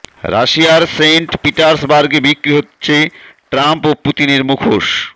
রাশিয়ার সেইন্ট পিটার্সবার্গে বিক্রি হচ্ছে ট্রাম্প ও পুতিনের মুখোশ